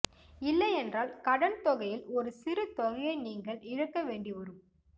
இல்லையென்றால் கடன்தொகையில் ஒரு சிறு தொகையை நீங்கள் இழக்க வேண்டி வரும்